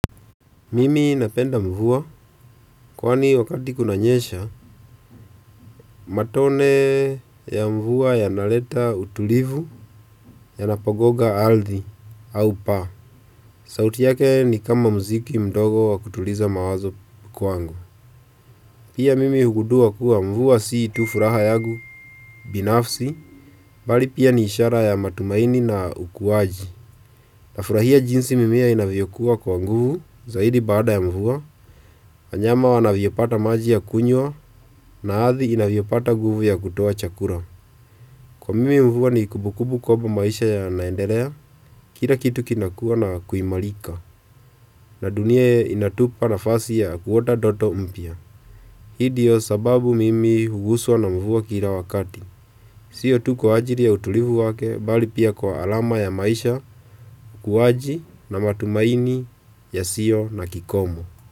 Mimi napenda mvua kwani wakati kunanyesha matone ya mvua yanaleta utulivu yanapogonga ardhi au paa. Sauti yake ni kama mziki mdogo wa kutuliza mawazo kwangu. Pia mimi hugundua kuwa mvua si tu furaha yangu binafsi, bali pia ni ishara ya matumaini na ukuwaji. Nafurahia jinsi mimea inavyokuwa kwa nguvu zaidi baada ya mvua, wanyama wanavyopata maji ya kunywa na ardhi inavyopata nguvu ya kutoa chakula. Kwa mimi mvua ni kumbukumbu kwangu maisha yanaenderea, kila kitu kinakua na kuimarika na dunia inatupa nafasi ya kuota ndoto mpya. Hii ndiyo sababu mimi huguswa na mvua kila wakati. Sio tu kwa ajili ya utulivu wake bali pia kwa alama ya maisha kuwaji na matumaini yasiyo na kikomo.